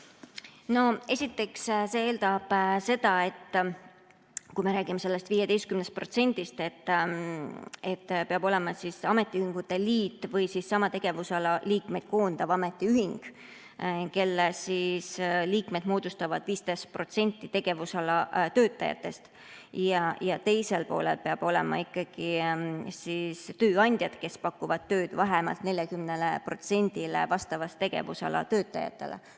Esiteks, see eeldab seda, kui me räägime sellest 15%‑st, et peab olema ametiühingute liit või sama tegevusala liikmeid koondav ametiühing, kelle liikmed moodustavad 15% tegevusala töötajatest, ja teisel poolel peavad olema ikkagi tööandjad, kes pakuvad tööd vähemalt 40%‑le vastava tegevusala töötajatele.